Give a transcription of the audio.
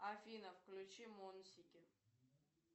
афина включи монсики